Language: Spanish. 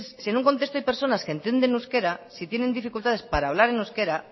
si en un contexto hay personas que entienden euskera si tienen dificultades para hablar en euskera